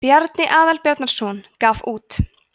bjarni aðalbjarnarson gaf út